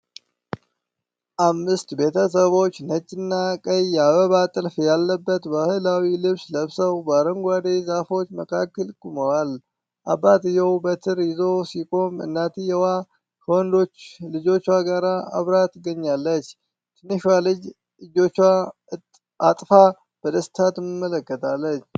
አምስት ቤተሰቦች ነጭና ቀይ የአበባ ጥልፍ ያለበት ባህላዊ ልብስ ለብሰው በአረንጓዴ ዛፎች መካከል ቆመዋል። አባትየው በትር ይዞ ሲቆም፣ እናትየው ከወንዶች ልጆቿ ጋር አብራ ትገኛለች። ትንሿ ልጅ እጆቿን አጥፋ በደስታ ትመለከታለች።